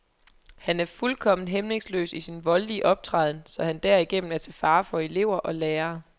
Han er fuldkommen hæmningsløs i sin voldelige optræden, så han derigennem er til fare for elever og lærere.